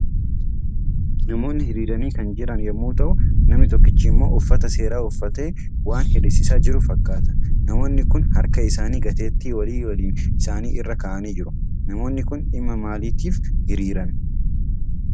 Namoonni hiriiranii kan jiran yommuu ta'u, namni tokkichi immoo uffata seeraa uffatee waan hiriirsisiisaa jiru fakkaata. Namoonni Kun harka isaanii gateettii walii walii isaanii irra kaa'anii jiru. Namoonni kun dhimma maaliitiif hiriiran?